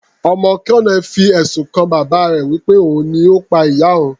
Ọmọ colonel fi ẹ̀sùn kan bàbá rẹ̀ wí pé òun ni Ó pa ìyá òun.